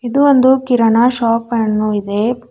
ಇದು ಒಂದು ಕಿರಣ ಶಾಪ್ ಅನ್ನು ಇದೆ.